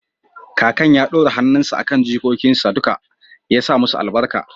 kakan ya ɗora hannunsa a kan jikokinsa duka ya sa musu albarka